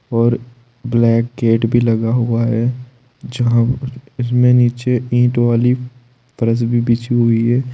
और black gate भी लगा हुआ है जहां इसमें नीचे ईट वाली फ़रश भी बिछी हुई है।